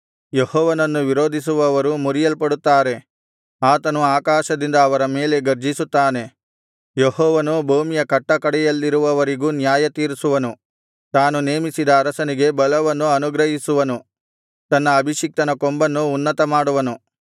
ಯೆಹೋವನನ್ನು ವಿರೋಧಿಸುವವರು ಮುರಿಯಲ್ಪಡುತ್ತಾರೆ ಆತನು ಆಕಾಶದಿಂದ ಅವರ ಮೇಲೆ ಗರ್ಜಿಸುತ್ತಾನೆ ಯೆಹೋವನು ಭೂಮಿಯ ಕಟ್ಟಕಡೆಯಲ್ಲಿರುವವರಿಗೂ ನ್ಯಾಯತೀರಿಸುವನು ತಾನು ನೇಮಿಸಿದ ಅರಸನಿಗೆ ಬಲವನ್ನು ಅನುಗ್ರಹಿಸುವನು ತನ್ನ ಅಭಿಷಿಕ್ತನ ಕೊಂಬನ್ನು ಉನ್ನತಮಾಡುವನು